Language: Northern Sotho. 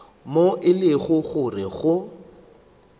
moo e lego gore go